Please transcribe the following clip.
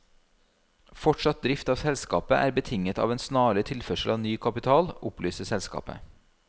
Fortsatt drift av selskapet er betinget av en snarlig tilførsel av ny kapital, opplyser selskapet.